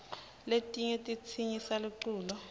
letinyg titsenyisa luculo